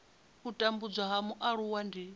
u tambudzwa ha mualuwa ndi